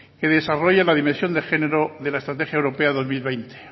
que desarrolla la dimensión de género de la estrategia europea dos mil veinte